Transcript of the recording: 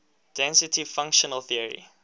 density functional theory